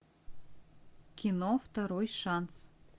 кино второй шанс